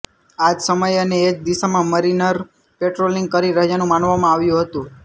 આજ સમયે અને એજ દિશામાં મરિનર પેટ્રોલિંગ કરી રહ્યાનું માનવામાં આવતું હતું